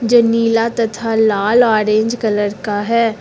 जो नीला तथा लाल ऑरेंज कलर का है।